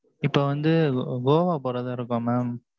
இப்ப வந்து, goa போறதா இருக்கோம், mam